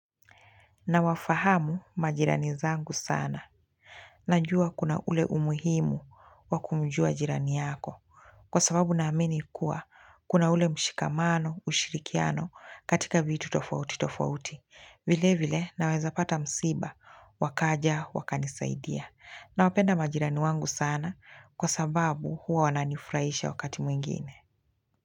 Nawafahamu majirani zangu sana. Najua kuna ule umuhimu wa kumjua jirani yako. Kwa sababu na amini kuwa kuna ule mshikamano, ushirikiano katika vitu tofauti tofauti. Vile vile naweza pata msiba, wakaja wakanisaidia. Nawapenda majirani wangu sana kwa sababu huwa wananifurahisha wakati mwingine.